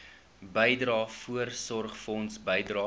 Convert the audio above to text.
bydrae voorsorgfonds bydrae